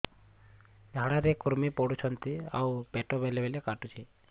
ଝାଡା ରେ କୁର୍ମି ପଡୁଛନ୍ତି ଆଉ ପେଟ ବେଳେ ବେଳେ କାଟୁଛି